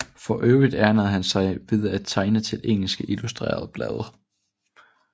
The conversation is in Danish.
For øvrigt ernærede han sig ved at tegne til engelske illustrerede blade